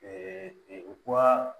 u ko aa